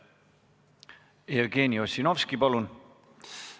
Jevgeni Ossinovski, palun!